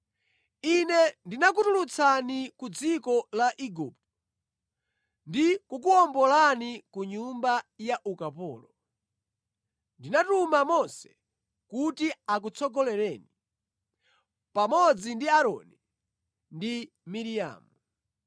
Ine ndinakutulutsani ku dziko la Igupto ndi kukuwombolani ku nyumba ya ukapolo. Ndinatuma Mose kuti akutsogolereni, pamodzi ndi Aaroni ndi Miriamu.